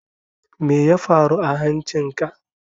Meya faru a hancin ka?